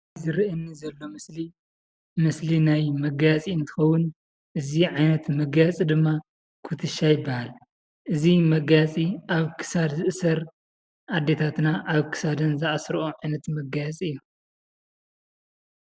ዝርእየኒ ዘሎ ምስሊ ምስሊ ናይ መጋየፂ እንትከውን እዚ ዓይነት መጋየፀ ድማ ኩትቻ ይብሃል እዚ መጋየፂ ኣብ ክሳድ ዝእሰር ኣዴታትና ኣብ ክሳደን ዝኣስሮኦ ዓይነት መጋየፂ እዩ።